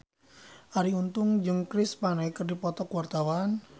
Arie Untung jeung Chris Pane keur dipoto ku wartawan